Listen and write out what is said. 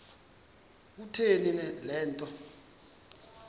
kutheni le nto